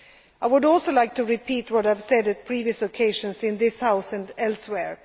competences. I would also like to repeat what I have said on previous occasions in this House